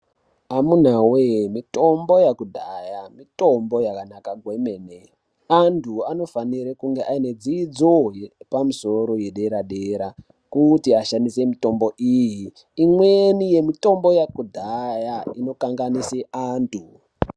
Amuna wee mitombo yakudhahaa mitombo yakanaka kwemene andu anofanirwa kunge aine dzidzo yepamusoro yedera dera kuti ashandisw mitombo iyi imweni yemutombo yakudhaya inokanganise andu.